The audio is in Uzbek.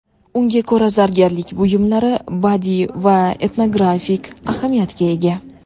Unga ko‘ra zargarlik buyumlari badiiy va etnografik ahamiyatga ega.